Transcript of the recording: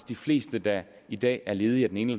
de fleste der i dag er ledige af den ene